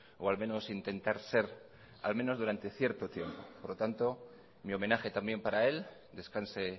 o al menos intentar ser al menos durante cierto tiempo por lo tanto mi homenaje también para él descanse